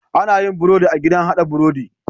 Anayin birodi a gidan hada birodi